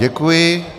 Děkuji.